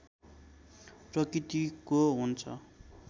प्रकृतिको हुन्छ